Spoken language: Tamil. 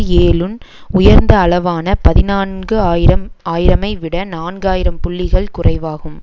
ஏழுன் உயர்ந்த அளவான பதினான்கு ஆயிரம் ஆயிரம்ஐ விட நான்காயிரம் புள்ளிகள் குறைவாகும்